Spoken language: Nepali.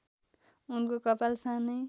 उनको कपाल सानै